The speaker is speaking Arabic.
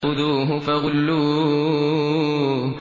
خُذُوهُ فَغُلُّوهُ